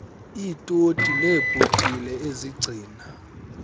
iitoti neebhotile ezigcina